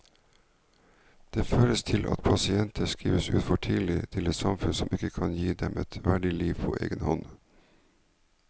Det fører til at pasienter skrives ut for tidlig til et samfunn som ikke kan gi dem et verdig liv på egen hånd.